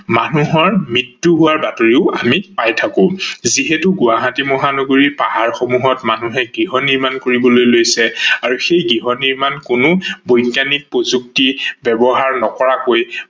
মানুহৰ মৃত্যু হোৱাৰ বাতৰিও আমি পাই থাকো। যিহেতু গুৱাহাটী মহানগৰিৰ পাহাৰ সমূহত মানুহে গৃহহ্নিৰ্মান কৰিবলৈ লৈছে আৰু সেই গৃহ নিৰ্মান কোনো বৈজ্ঞানিক প্ৰযুক্তি ব্যৱহাৰ নকৰাকৈ